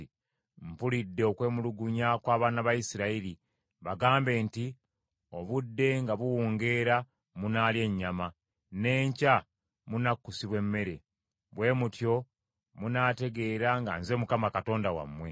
“Mpulidde okwemulugunya kw’abaana ba Isirayiri. Bagambe nti, ‘Obudde nga buwungeera munaalya ennyama, n’enkya munakkusibwa emmere. Bwe mutyo munaategeera nga nze Mukama Katonda wammwe.’ ”